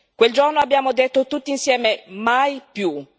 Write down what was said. Quel giorno, abbiamo detto tutti insieme mai più.